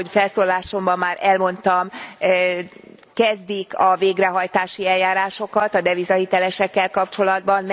Ahogy felszólalásomban már elmondtam kezdik a végrehajtási eljárásokat a devizahitelesekkel kapcsolatban.